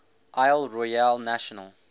isle royale national